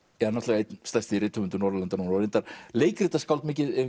er einn stærsti rithöfundur Norðurlanda núna og reyndar leikritaskáld mikið